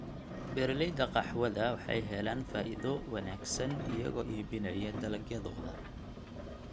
Beeralayda qaxwada waxay helaan faa'iido wanaagsan iyagoo iibinaya dalagyadooda.